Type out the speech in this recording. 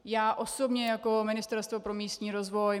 Já osobně jako Ministerstvo pro místní rozvoj...